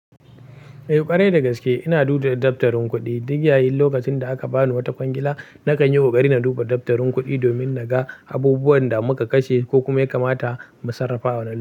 Eh ƙwarai da gaske ina duba daftarin kuɗi. Duk yayin lokacin da aka bani wata kwangila, na kan yi ƙoƙari na duba daftarin kuɗi domin na ga abubuwan da muka kashe ko kuma ya kamata mu sarrafa wa nan.